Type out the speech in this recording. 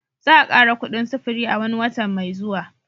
Za'a kara kuɗin sufuri a wani watan mai zuwa.